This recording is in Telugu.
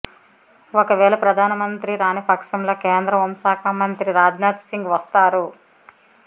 ఒక వేళ ప్రధానమంత్రి రాని పక్షంలో కేంద్ర హోంశాఖ మంత్రి రాజ్నాథ్సింగ్ వస్తారు